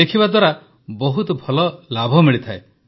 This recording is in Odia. ଲେଖିବା ଦ୍ୱାରା ବହୁତ ଭଲ ଲାଭ ମିଳିଥାଏ